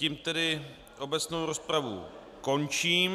Tím tedy obecnou rozpravu končím.